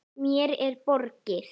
Mér er borgið.